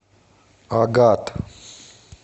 агат